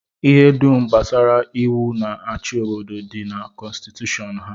Ihe dum gbasara iwu na-achị obodo dị na kọnstitushọn ha.